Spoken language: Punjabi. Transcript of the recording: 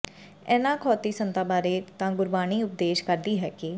ਇਹਨਾ ਅਖੌਤੀ ਸੰਤਾਂ ਬਾਰੇ ਤਾਂ ਗੁਰਬਾਣੀ ਉਪਦੇਸ਼ ਕਰਦੀ ਹੈ ਕਿ